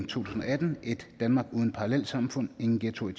tusind og atten ét danmark uden parallelsamfund ingen ghettoer i